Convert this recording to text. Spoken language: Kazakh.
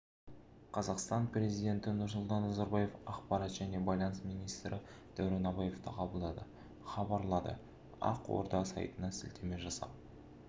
қазақстан президенті нұрсұлтан назарбаев ақпарат және байланыс министрі дәурен абаевты қабылдады хабарлады ақорда сайтына сілтеме жасап